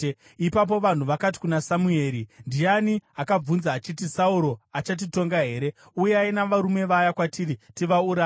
Ipapo vanhu vakati kuna Samueri, “Ndiani akabvunza achiti, ‘Sauro achatitonga here?’ Uyai navarume ava kwatiri tivauraye.”